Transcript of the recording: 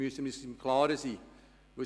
Darin müssen wir uns im Klaren sein.